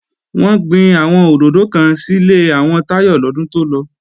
Wọ́n gbin àwọn òdòdó kan sílé àwọn Táyọ lọ́dún tó lọ